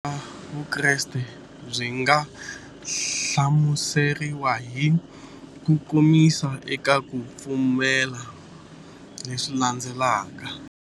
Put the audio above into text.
Vukhongeri bya Vukreste byi nga hlamuseriwa hi kukomisa eka ku pfumela leswi landzelaka.